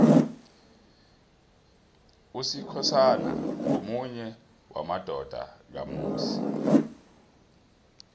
usikhosana ngomunye wamadodana kamusi